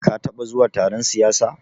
Ka taɓa zuwa taron siyasa?